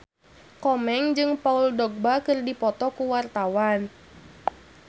Komeng jeung Paul Dogba keur dipoto ku wartawan